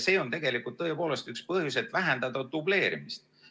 See on tõepoolest üks põhjus, et vähendada dubleerimist.